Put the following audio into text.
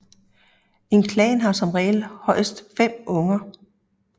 En klan har som regel højst fem unger